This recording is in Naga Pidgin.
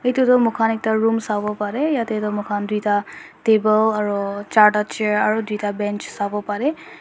edu tu moikhan ekta room sawo parae yatae tu moikhan tuita table aro charta chair aro tuita bench sawo parae.